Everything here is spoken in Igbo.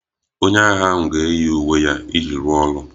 Onye agha ahụ ga-eyi uwe ya iji rụọ ọrụ